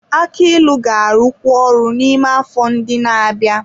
Aki ilu ga-arụkwu ọrụ n'ime afọ ndị na-abịa.